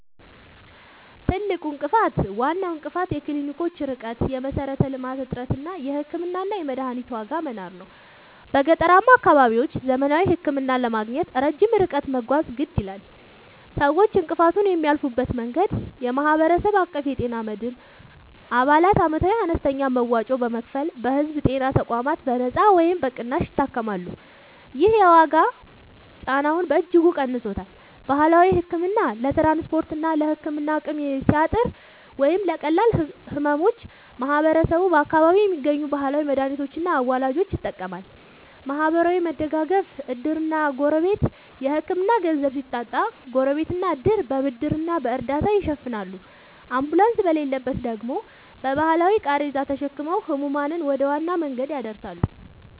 ትልቁ እንቅፋት፦ ዋናው እንቅፋት የክሊኒኮች ርቀት (የመሠረተ-ልማት እጥረት) እና የሕክምናና የመድኃኒት ዋጋ መናር ነው። በገጠራማ አካባቢዎች ዘመናዊ ሕክምና ለማግኘት ረጅም ርቀት መጓዝ የግድ ይላል። ሰዎች እንቅፋቱን የሚያልፉበት መንገድ፦ የማህበረሰብ አቀፍ የጤና መድን፦ አባላት ዓመታዊ አነስተኛ መዋጮ በመክፈል በሕዝብ ጤና ተቋማት በነጻ ወይም በቅናሽ ይታከማሉ። ይህ የዋጋ ጫናውን በእጅጉ ቀንሶታል። ባህላዊ ሕክምና፦ ለትራንስፖርትና ለሕክምና አቅም ሲያጥር ወይም ለቀላል ሕመሞች ማህበረሰቡ በአካባቢው በሚገኙ ባህላዊ መድኃኒቶችና አዋላጆች ይጠቀማል። ማህበራዊ መደጋገፍ (ዕድርና ጎረቤት)፦ የሕክምና ገንዘብ ሲታጣ ጎረቤትና ዕድር በብድርና በእርዳታ ይሸፍናሉ፤ አምቡላንስ በሌለበት ደግሞ በባህላዊ ቃሬዛ ተሸክመው ሕሙማንን ወደ ዋና መንገድ ያደርሳሉ።